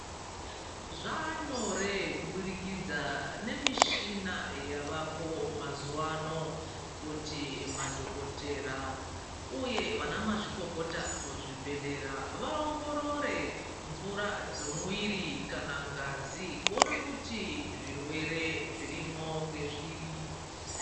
Zvanyore kubudikidza nemishina yavapo mazuwa ano kuti madhokotera uye vana mazvikokota muzvibhedhlera vaongorore mvura dzomuwiri kana ngazi kuona kuti zvirwere zvirimo ngezviri.